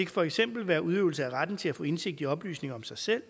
for eksempel være udøvelse af retten til at få indsigt i oplysninger om sig selv